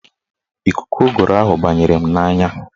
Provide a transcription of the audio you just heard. Ikuku ụgụrụ ahụ banyere m n'anya